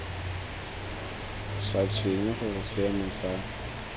sa tshwenye gore seemo sa